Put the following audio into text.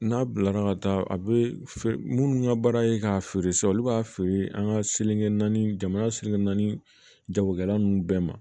N'a bilara ka taa a bɛ minnu ka baara ye k'a feere sisan olu b'a feere an ka seli naani jamana seli naani jagokɛla ninnu bɛɛ ma